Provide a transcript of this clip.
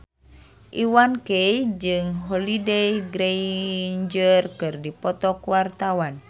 Iwa K jeung Holliday Grainger keur dipoto ku wartawan